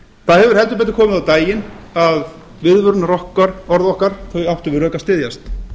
það hefur heldur betur komið á daginn að viðvörunarorð okkar áttu við rök að styðjast